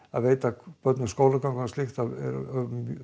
að veita börnum skólagöngu og slíkt þá